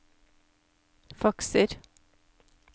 fakser